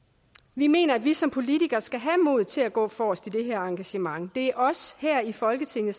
vi mener at vi som politikere skal have modet til at gå forrest i det her engagement det er os her i folketinget